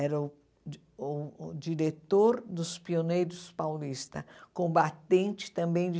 Era o di uh o diretor dos pioneiros paulistas, combatente também de